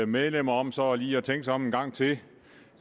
medlemmer om så lige at tænke sig om en gang til